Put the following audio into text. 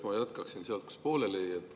Ma jätkan sealt, kus pooleli jäi.